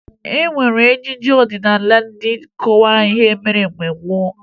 E nwere ejije ọdịnaala eji akọwa ihe mere mgbe gboo